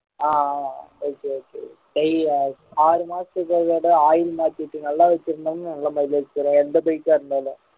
ஆஹ் okay okay ஆறு மாசத்துக்கு ஒரு தடவை oil மாத்திட்டு நல்லா வெச்சிருந்தோம்னா நல்ல mileage தரும் எந்த bike ஆ இருந்தாலும்